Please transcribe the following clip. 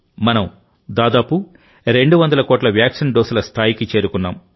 మనం దాదాపు 200 కోట్ల వ్యాక్సిన్ డోసుల స్థాయికి చేరుకున్నాం